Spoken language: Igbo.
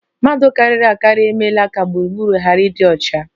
Mmadụ karịrị akarị emeela ka gburugburu ghara ịdị ọcha